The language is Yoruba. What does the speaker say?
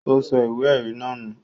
Ó sọ ìwé-ẹ̀rí náà nù?